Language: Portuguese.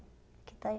Aqui está eu.